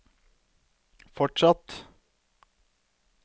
fortsatt